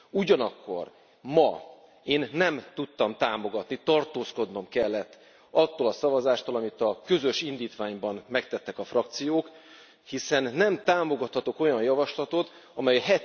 Ugyanakkor ma én nem tudtam támogatni, tartózkodnom kellett attól a szavazástól, amit a közös indítványban megtettek a frakciók, hiszen nem támogathatok olyan javaslatot, amely